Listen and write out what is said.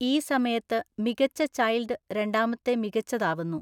ഈ സമയത്ത് മികച്ച ചൈല്‍ഡ് രണ്ടാമത്തെ മികച്ചത് ആവുന്നു.